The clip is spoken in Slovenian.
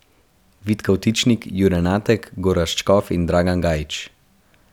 Vid Kavtičnik, Jure Natek, Gorazd Škof in Dragan Gajić.